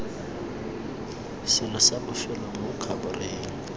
selo sa bofelo mo khabareng